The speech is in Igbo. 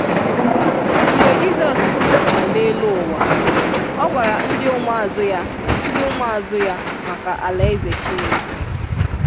Mgbe Jisọs nọ n'elu ụwa,ọ gwara ndi ụmụazụ ya ndi ụmụazụ ya maka alaeze Chineke.